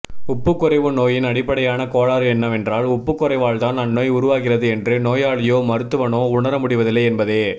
உப்புக்குறைவு நோயின் அடிப்படையான கோளாறு என்னவென்றால் உப்புக்குறைவால்தான் அந்நோய் உருவாகிறது என்று நோயாளியோ மருத்துவனோ உணர முடிவதில்லை என்பதே